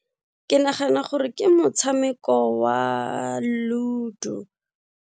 Ke nagana gore ke motshameko wa Ludo.